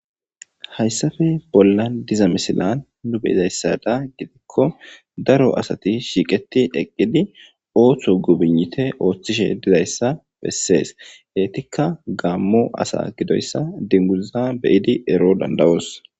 Hayssafe bolla diza misilan nu beyidayssada gidikko daro asati shiiqeti eqqidi ooththo gubinite ooththishe dizayssa bessees heetikka gaammo asa gidoyssa dinguza beyidi ero dandawos.